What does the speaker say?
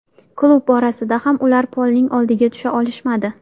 Klub borasida ham ular Polning oldiga tusha olishmadi.